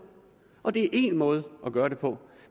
og det er én måde at gøre det på